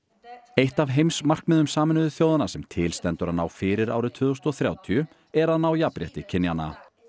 eitt af heimsmarkmiðum Sameinuðu þjóðanna sem til stendur að ná fyrir árið tvö þúsund og þrjátíu er að ná jafnrétti kynjanna